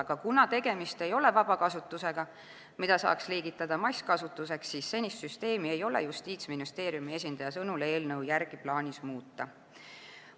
Aga kuna tegemist ei ole vabakasutusega, mida saaks liigitada masskasutuseks, siis senist süsteemi ei ole Justiitsministeeriumi esindaja sõnul eelnõu järgi plaanis muuta.